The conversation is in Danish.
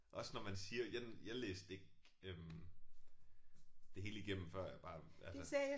Også når man siger jeg jeg læste ikke øh det hele igennem før jeg bare altså